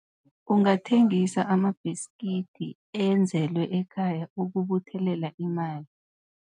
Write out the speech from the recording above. Ungathengisa amabhiskidi enzelwe ekhaya ukubuthelela imali.